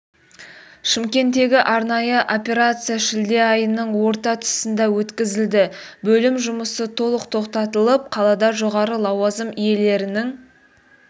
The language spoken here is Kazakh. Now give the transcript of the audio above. шымкенттегі арнайы операция шілде айының орта тұсында өткізілді бөлім жұмысы толық тоқтатылып қалада жоғары лауазым иелерінің